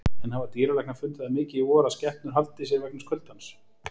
En hafa dýralæknar fundið það mikið í vor að skepnur haldi í sér vegna kuldans?